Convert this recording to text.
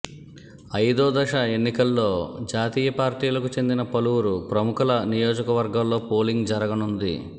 ఐదో దశ ఎన్నికల్లో జాతీయ పార్టీలకు చెందిన పలువురు ప్రముఖుల నియోజకవర్గాల్లో పోలింగ్ జరగనుంది